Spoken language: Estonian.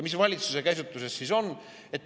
Mis valitsuse käsitlus siis on?